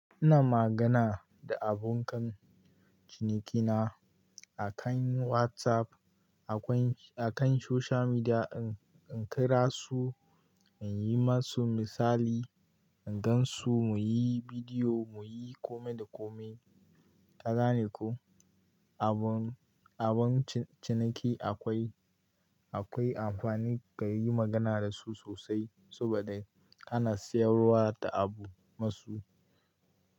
Ina magana da abokan cinikina akan WhatsApp, akan social media, in kirasu in yi musu misali, in gansu muyi bidiyo, muyi kome da kome. Ka gane ko, abokan ciniki akwai amfani ka yi magana dasu sosai saboda ana siyarwa ta abu musu.